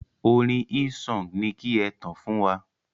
Orin Hillsong ni ki e tàn fún wa.